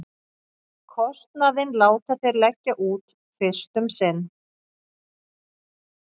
Kostnaðinn láta þeir leggja út fyrst um sinn.